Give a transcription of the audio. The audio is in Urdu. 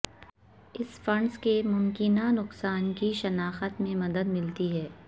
اس فنڈز کے ممکنہ نقصان کی شناخت میں مدد ملتی ہے